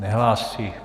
Nehlásí.